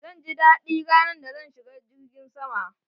Zan ji dadi ranar da zan shiga girgin sama.